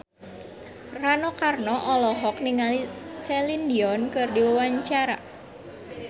Rano Karno olohok ningali Celine Dion keur diwawancara